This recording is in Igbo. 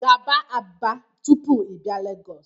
Gaba Aba tupu i bia Lagos